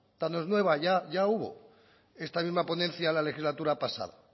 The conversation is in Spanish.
no es nueva ya hubo esta misma ponencia en la legislatura pasada